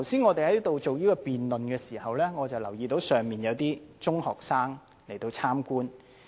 我們剛才進行辯論時，我留意到公眾席有中學生來旁聽。